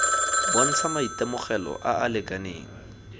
bontsha maitemogelo a a lekaneng